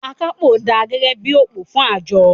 “Akápò dà gẹ́gẹ́ bí i òpó fún àjọ.